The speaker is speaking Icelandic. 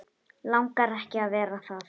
Langar ekki að vera það.